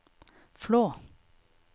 Flå